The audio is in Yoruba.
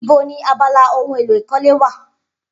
Ibo ni abala ohun èlò ìkọ́lé wà?